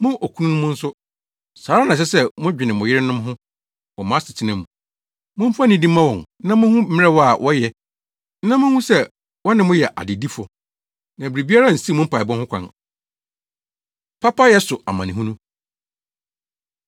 Mo okununom nso, saa ara na ɛsɛ sɛ modwene mo yerenom ho wɔ mo asetena mu. Momfa nidi mma wɔn na munhu mmerɛw a wɔyɛ na munhu sɛ wɔne mo yɛ adedifo, na biribi ansiw mo mpaebɔ ho kwan. Papayɛ So Amanehunu